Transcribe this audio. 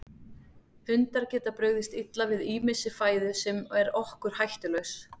Hundar geta brugðist illa við ýmissi fæðu sem er okkur hættulaus.